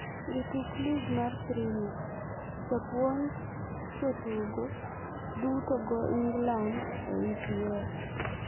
Jotuk lig mar Premia: japuonj, jotugo duto tugo Ingland e EPL?